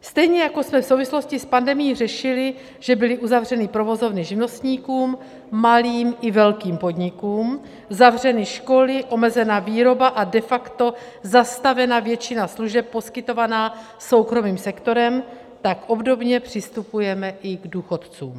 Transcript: Stejně jako jsme v souvislosti s pandemií řešili, že byly uzavřeny provozovny živnostníkům, malým i velkým podnikům, zavřeny školy, omezena výroba a de facto zastavena většina služeb poskytovaná soukromým sektorem, tak obdobně přistupujeme i k důchodcům.